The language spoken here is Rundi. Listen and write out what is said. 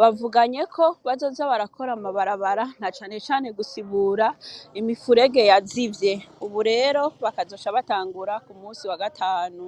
bavuganyeko bazoza barakora amabarabara na cane cane imifurege yazivye ubu rero bazoca batangura kuwagatanu .